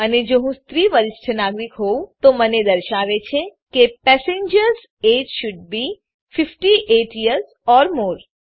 અને જો હું સ્ત્રી વરિષ્ઠ નાગરિક હોવું તો તે મને દર્શાવે છે કે passengers age should be 58 years or more